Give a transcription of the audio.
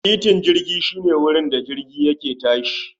Titin jirgi shi ne wurin da jirgi yake tashi